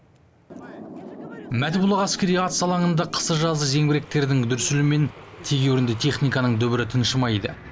мәтібұлақ әскери атыс алаңында қысы жазы зеңбіректердің дүрсілі мен тегеурінді техниканың дүбірі тыншымайды